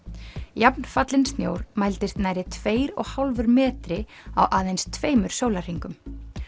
jafnfallinn snjór mældist nærri tveir og hálfur metri á aðeins tveimur sólarhringum